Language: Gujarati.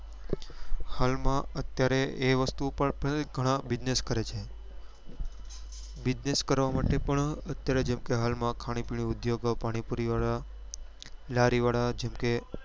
હાલ માં અત્યારે એ વસ્તુ પર ગણા business કરે છે business કરવા માટે પણ અત્યારે જેમ કે હાલ ખાણીપીણી ઉદ્યોગો પાણીપુરી વાળા લારીવાળા જેમ કે